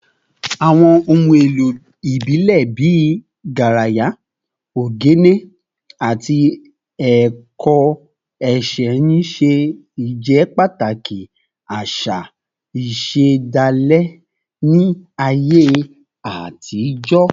Àwọn ohun èlò ìbílẹ̀ bíi garaya, ogene, àti ẹ̀kọ́ ẹ̀ṣẹ̀ ń ṣe ìjẹ́pàtàkì àṣà ìṣẹ̀dálẹ̀ ní ayé àtijọ́